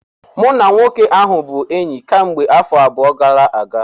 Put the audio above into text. Mụ na nwoke ahụ bụ enyi kemgbe afọ abụọ gara aga